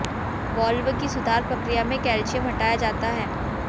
valve की सुधार प्रक्रिया में कैल्शियम हटाया जाता है